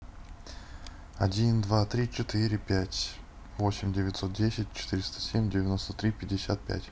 один два три четыре пять восемь девятьсот десять четыреста семь девяносто три пятьдесят пять